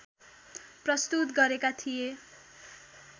प्रस्तुत गरेका थिए